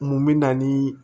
Mun bɛ na ni